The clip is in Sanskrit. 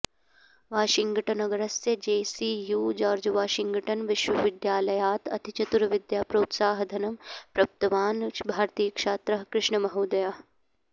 वाषिङ्ग्टन्नगरस्य जे सि यु जार्जवाषिङ्ग्टन् विश्वविद्यालयात् अतिचतुरविद्याप्रोत्साहधनं प्रप्तवान् भारतीयछात्रः कृष्णमहोदयः